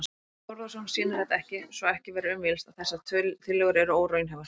Þorbjörn Þórðarson: Sýnir þetta ekki, svo ekki verður um villst, að þessar tillögur eru óraunhæfar?